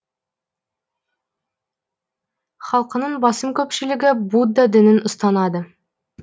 халқының басым көпшілігі будда дінін ұстанады